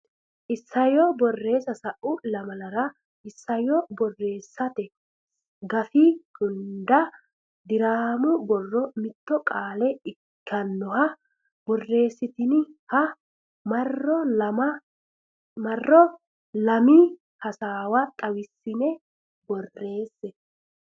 Isayyo Borreessa Sa u lamalara isayyo borreessate gafi hunda diraamu borro mitto qoola ikkannoha borreessitiniha marro lami hasaawu xawissine borreesse.